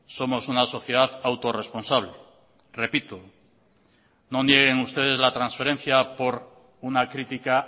somos una sociedad autorresponsable repito no nieguen ustedes la transferencia por una crítica